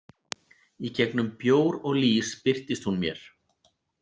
Í gegnum bjór og lýs birtist hún mér.